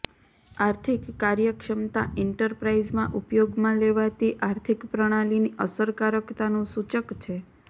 આર્થિક કાર્યક્ષમતા એન્ટરપ્રાઇઝમાં ઉપયોગમાં લેવાતી આર્થિક પ્રણાલીની અસરકારકતાનું સૂચક છે